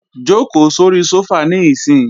Jòkó sóri sófà níìsín!